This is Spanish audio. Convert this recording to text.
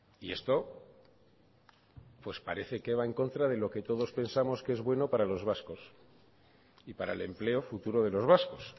y esto pues parece que va en contra de lo que todos pensamos que es bueno para los vascos y para el empleo futuro de los vascos